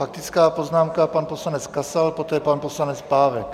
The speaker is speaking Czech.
Faktická poznámka pan poslanec Kasal, poté pan poslanec Pávek.